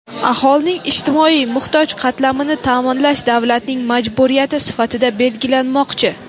aholining ijtimoiy muhtoj qatlamini taʼminlash davlatning majburiyati sifatida belgilanmoqchi.